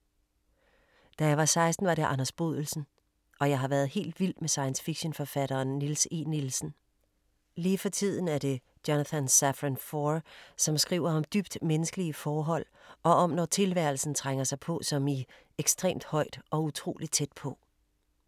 Da jeg var 16 var det Anders Bodelsen og jeg har været helt vild med science-fiction forfatteren Niels E. Nielsen. Lige for tiden er det Jonathan Safran Foer, som skriver om dybt menneskelige forhold og om når tilværelsen trænger sig på som i Ekstremt højt & utrolig tæt på.